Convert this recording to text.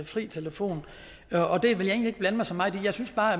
fri telefon og det vil jeg egentlig ikke blande mig så meget i jeg synes